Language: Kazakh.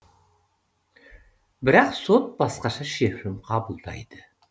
бірақ сот басқаша шешім қабылдайды